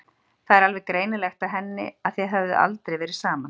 Það var alveg greinilegt á henni að þið höfðuð aldrei verið saman.